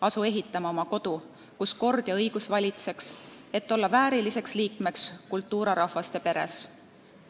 Asu ehitama oma kodu, kus kord ja õigus valitseks, et olla vääriliseks liikmeks kulturarahvaste peres!